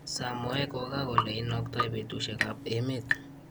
samoei kokakole inaktoe petushek�ap�emet